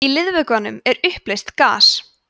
í liðvökvanum er uppleyst gas